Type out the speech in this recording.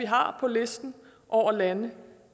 har på listen over lande